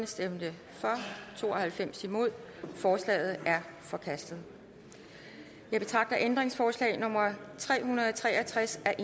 stemte to og halvfems forslaget er forkastet jeg betragter ændringsforslag nummer tre hundrede og tre og tres af